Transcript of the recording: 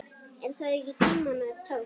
Er það ekki tímanna tákn?